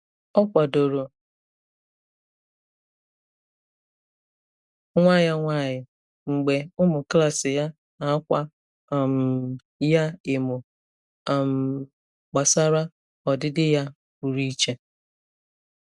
Ọ kwadoro nwa ya nwanyị mgbe ụmụ klas ya na-akwa um ya emo um gbasara ọdịdị ya pụrụ iche.